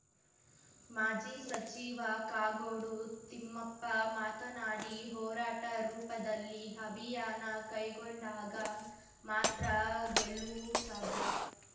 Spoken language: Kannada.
ಮಾಜಿ ಸಚಿವ ಕಾಗೋಡು ತಿಮ್ಮಪ್ಪ ಮಾತನಾಡಿ ಹೋರಾಟ ರೂಪದಲ್ಲಿ ಅಭಿಯಾನ ಕೈಗೊಂಡಾಗ ಮಾತ್ರ ಗೆಲುವು ಸಾಧ್ಯ